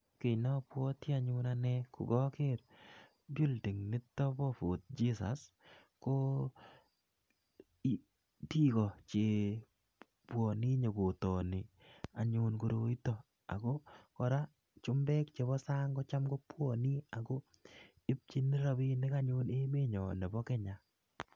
ki neabwoti anee ko kaker building inito nebo fort jesus abwati kokanyo nyeaker toni anyun koroito ako korak ko chumbek che bo sang ko cham ko bwane nyokokere ako ibchin rabinik emet nyon ne bo kenya